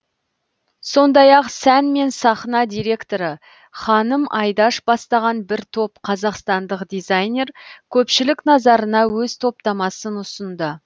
сондай ақ сән мен сахна директоры ханым айдаш бастаған бір топ қазақстандық дизайнер көпшілік назарына өз топтамасын ұсынды